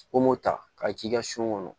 Ko m'o ta ka ji kɛ kɔnɔ